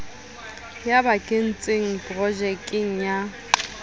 o ba kentseng projekeng ya